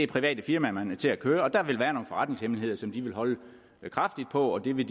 private firmaer man vil have til at køre og der vil være nogle forretningshemmeligheder som de vil holde kraftigt på og de vil